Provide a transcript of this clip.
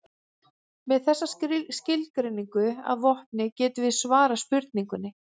Með þessa skilgreiningu að vopni getum við svarað spurningunni.